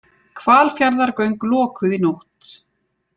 Hvalfjarðargöng lokuð í nótt